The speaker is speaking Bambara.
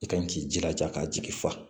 I ka kan k'i jilaja k'a jigi fa